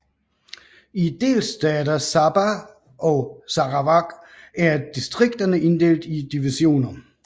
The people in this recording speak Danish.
I delstater Sabah og Sarawak er distrikterne inddelte i divisioner